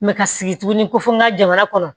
ka sigi tuguni ko fo n ka jamana kɔnɔ